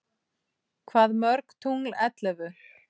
Hvað mörg tungl ellefu?